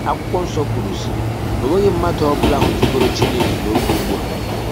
Akwụkwọ nsọ kwụrụ sị: " Ọ nwèghị mmadụ ọbụla hụtụgọrọ chịnèkè ṅ'ọgè ụgbụa.